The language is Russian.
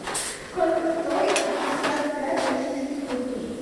сколько стоит пятьдесят пять российских рублей